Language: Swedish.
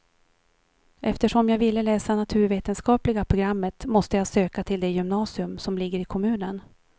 Eftersom jag ville läsa naturvetenskapliga programmet måste jag söka till det gymnasium som ligger i kommunen.